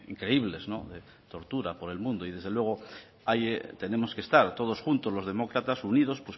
increíbles de tortura por el mundo y desde luego ahí tenemos que estar todos juntos los demócratas unidos